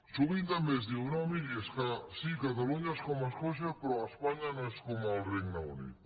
sovint també es diu no miri és que catalunya és com escòcia però espanya no és com el regne unit